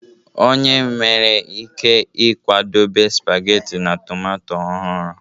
Onye nwere ike ịkwadebe spageti na tomato ọhụrụ